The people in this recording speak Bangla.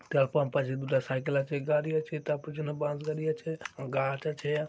দুটা পাম্প আছে দুটা সাইকেল আছে গাড়ি আছে তারপর যেন বাস দাড়িয়ে আছে গাছ আছে।